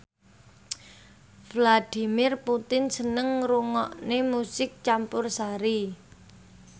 Vladimir Putin seneng ngrungokne musik campursari